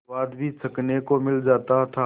स्वाद भी चखने को मिल जाता था